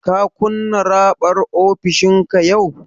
Ka kunna raɓar ofishinka yau?